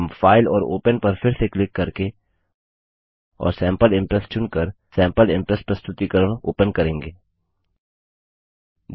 हम फाइल और ओपन पर फिर से क्लिक करके और सैम्पल इंप्रेस चुनकर सैम्पल इंप्रेस प्रस्तुतिकरण प्रेज़ेन्टैशन ओपन करेंगे